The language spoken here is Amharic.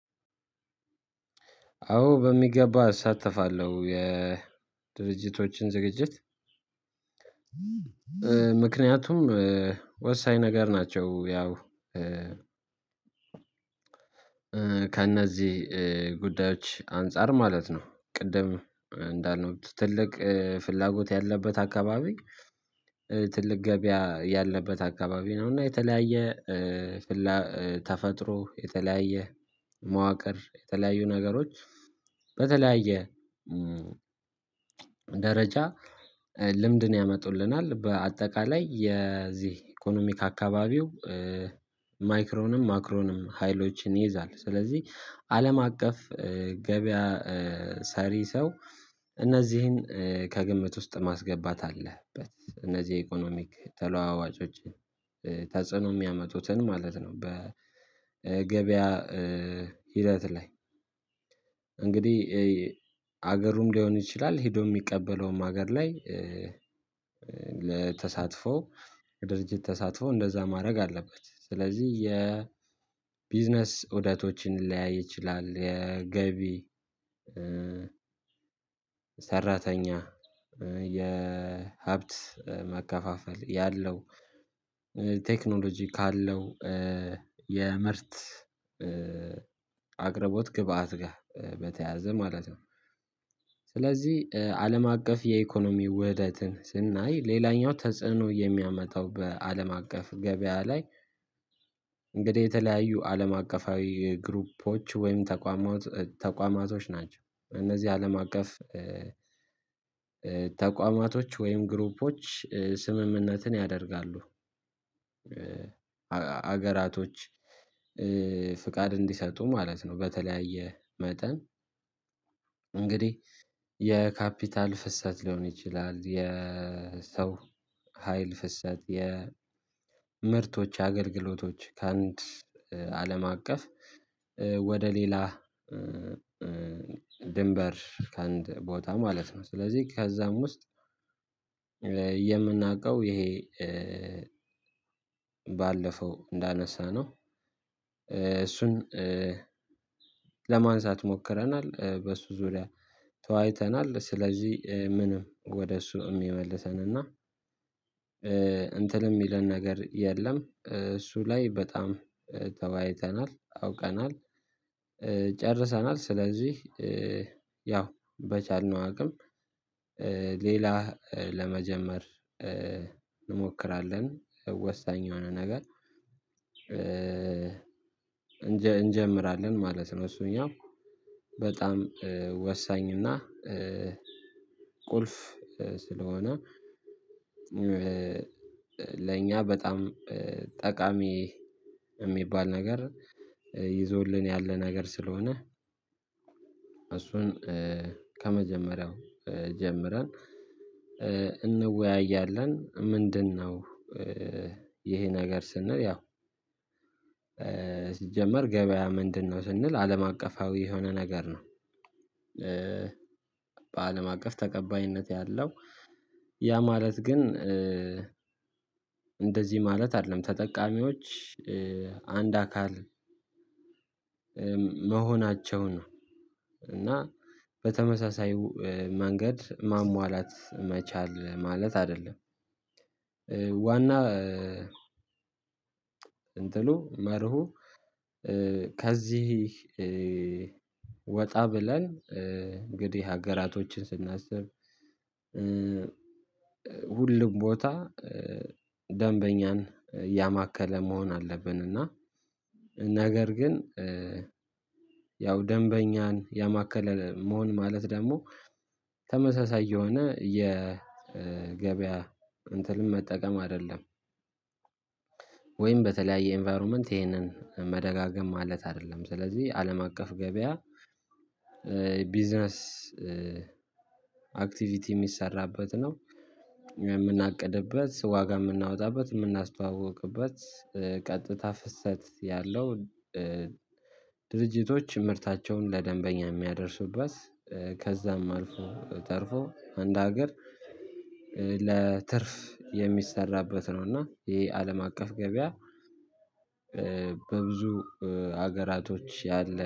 አዎ በሚገባ እሳተፋለሁ የድርጅቶችን ዝግጅት ምክንያቱም ወሳኝ ነገር ናቸው። ያው ከእነዚህ ጉዳዮች አንፃር ማለት ነው። ቅድም እንዳልነው ትልቅ ፍላጎት ያለበት አካባቢ ትልቅ ገበያ ያለበት አካባቢ ነው። እና የተለያየ ተፈጥሮ የተለያየ መዋቅር የተለያዩ ነገሮች በተለያየ ደረጃ ልምድን ያመጡልናል በአጠቃላይ የዚህ ኢኮኖሚክ አካባቢው ማይክሮንም ማክሮንም ሀይሎችን ይይዛል። ስለዚህ አለም አቀፍ ገበያ ሰሪ ሰው እነዚህን ከግምት ውስጥ ማስገባት አለበት እነዚህ የኢኮኖሚክ ተለዋዋጮችን ተጽዕኖ የሚያመጡትን ማለት ነው። በገበያ ሂደት ላይ እንግዲህ ሀገሩም ሊሆን ይችላል ሄዶ የሚቀበለውም ሀገር ላይ ለተሳትፎ ድርጅት ተሳትፎ እንደዛ ማድረግ አለበት። ስለዚህ የቢዝነስ እውደቶችን ሊለያይ ይችላል። የገቢ ሰራተኛ የሀብት መከፋፈል ያለው ቴክኖሎጂ ካለው የምርት አቅርቦት ግብአት ጋር በተያያዘ ማለት ነው። ስለዚህ አለም አቀፍ የኢኮኖሚ ውህደትን ስናይ ሌላኛው ተጽዕኖ የሚያመጣው በአለም አቀፍ ገበያ ላይ እንግዲህ የተለያዩ አለም አቀፋዊ ግሩፖች ወይም ተቋማት ተቋማቶች ናቸው። እነዚህ አለም አቀፍ ተቋማቶች ወይም ግሩፖች ስምምነትን ያደርጋሉ ሀገራቶች ፍቃድ እንዲሰጡ ማለት ነው። በተለያየ መጠን እንግዲህ የካፒታል ፍሰት ሊሆን ይችላል። የሰው ሀይል ፍሰት የምርቶች አገልግሎቶች ከአንድ አለም አቀፍ ወደ ሌላ ድንበር ከአንድ ቦታ ማለት ነው። ስለዚህ ከዛም ውስጥ የምናውቀው ይሄ ባለፈው እንዳነሳነው እሱን ለማንሳት ሞክረናል በሱ ዙሪያ ተዋይተናል ስለዚህ ምንም ወደ እሱ የሚመልሰን እና እንትን የሚለን ነገር የለም። እሱ ላይ በጣም ተዋይተናል አውቀናል ጨርሰናል። ስለዚህ ያው በቻልነው አቅም ሌላ ለመጀመር እንሞክራለን ወሳኝ የሆነ ነገር እንጀምራለን ማለት ነው። እሱኛው በጣም ወሳኝ እና ቁልፍ ስለሆነ ለእኛ በጣም ጠቃሚ የሚባል ነገር ይዞልን ያለ ነገር ስለሆነ እሱን ከመጀመሪያው ጀምረን እንወያያለን። ምንድነው? ይሄ ነገር ስንል ያው ሲጀመር ገበያ ምንድነው ስንል አለም አቀፋዊ የሆነ ነገር ነው። በአለም አቀፍ ተቀባይነት ያለው ያ ማለት ግን እንደዚህ ማለት አይደለም። ተጠቃሚዎች አንድ አካል መሆናቸው ነው እና በተመሳሳይ መንገድ ማሟላት መቻል ማለት አይደለም። ዋና እንትኑ መርሁ ከዚህ ወጣ ብለን እንግዲህ ሀገራቶችን ስናስብ ሁሉም ቦታ ደንበኛን ያማከለ መሆን አለብን። እና ነገር ግን ያው ደንበኛን ያማከለ መሆን ማለት ደግሞ ተመሳሳይ የሆነ የገበያ እንትንም መጠቀም አይደለም። ወይም በተለያየ ኢንቫይሮመንት ይሄንን መደጋገም ማለት አይደለም። ስለዚህ አለም አቀፍ ገበያ ቢዝነስ አክቲቪቲ የሚሰራበት ነው። የምናቅድበት ዋጋ የምናወጣበት የምናስተዋውቅበት ቀጥታ ፍሰት ያለው ድርጅቶች ምርታቸውን ለደንበኛ የሚያደርሱበት ከዛም አልፎ ተርፎ አንድ ሀገር ለትርፍ የሚሰራበት ነው። እና ይሄ አለም አቀፍ ገበያ በብዙ ሀገራቶች ያለ